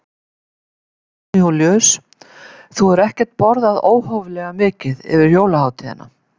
Jón Júlíus: Þú hefur ekkert borðað óhóflega mikið yfir jólahátíðina?